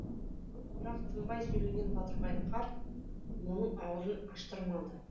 бірақ тынбай сөйлеген батырбай карт оның аузын аштырмады